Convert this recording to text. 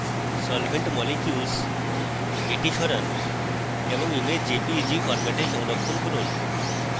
solvent molecules সরান এবং image jpeg ফরম্যাটে সংরক্ষণ করুন